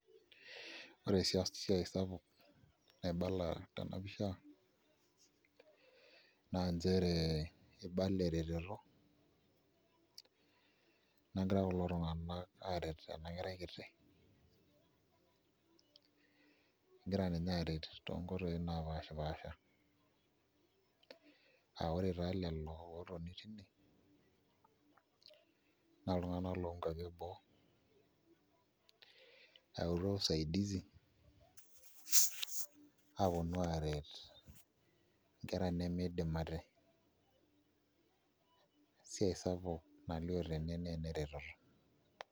Ore oshi esiai sapuk naibala tena pisha naa nchere ibala eretoto nagira kulo tung'anak aaret ena kerai kiti egira ninye aaret tonkoitoi naapashipaasha aa ore taa lelo ootoni tine naa iltunganak loonkuapi enoo eyautua eretoto aponu aaret nkera nemiidim ate, esiai sapuk nalioo tene naa ene reteto.